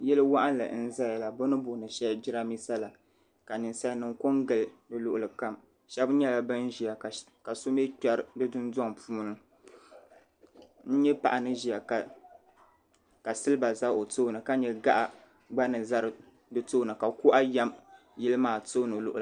Yili waɣinli n zaya la bɛ ni booni sheli jirambisa la ka ninsalinima kongili di luɣuli kam shɛba nyɛla ban ʒia ka so mɛɛ kperi di dundoŋ puuni n nya paɣa ni ʒia ka silba za o tooni ka nya gaɣa gba ni za di tooni ka kuɣa yam yili maa tooni luɣuli.